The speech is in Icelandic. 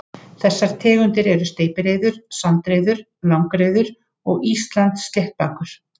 Þessar tegundir eru steypireyður, sandreyður, langreyður og Íslandssléttbakur.